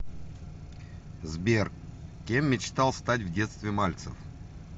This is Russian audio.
сбер кем мечтал стать в детстве мальцев